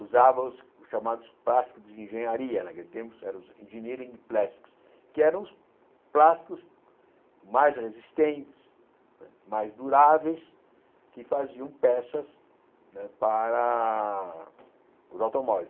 usava os chamados plásticos de engenharia né, naquele tempo eram os engineering plastics, que eram os plásticos mais resistentes, mais duráveis, que faziam peças né para os automóveis.